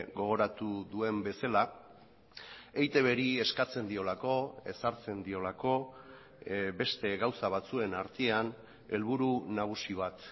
gogoratu duen bezala eitbri eskatzen diolako ezartzen diolako beste gauza batzuen artean helburu nagusi bat